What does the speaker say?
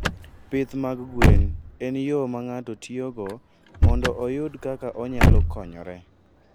Pith mag gwen en yo ma ng'ato tiyogo mondo oyud kaka onyalo konyore.